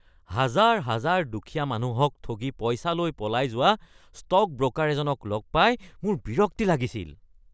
হাজাৰ হাজাৰ দুখীয়া মানুহক ঠগি পইচা লৈ পলাই যোৱা ষ্টক ব্ৰকাৰ এজনক লগ পাই মোৰ বিৰক্তি লাগিছিল।